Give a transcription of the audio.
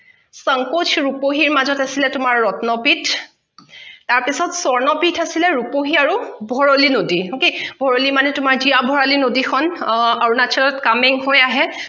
চাংকোচৰ ৰুপহী মাজত আছিলে তোমাৰ ৰত্ন পিঠ তাৰ পিছত স্বৰ্ণ পিঠ আছিলে ৰুপহী আৰু ভৰলী নদী okay ভৰলী মানে তোমাৰ হিয়া ভৰলী নদী খন অ অৰুণাচলত coming হৈ আহে